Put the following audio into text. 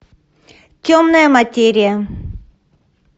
темная материя